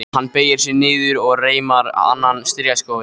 Hann beygir sig niður og reimar annan strigaskóinn.